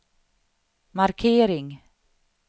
markering